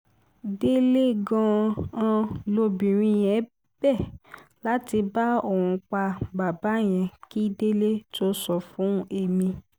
délé gan-an lobìnrin yẹn bẹ láti bá òun pa bàbá yẹn kí délé tóó sọ fún èmi